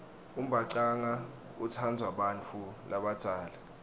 umbhacanga utsandvwa bantfu labadzala